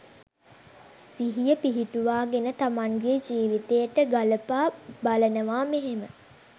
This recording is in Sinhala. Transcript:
සිහිය පිහිටුවාගෙන තමන්ගේ ජීවිතයට ගලපා බලනවා මෙහෙම.